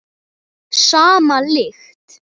Sama lykt.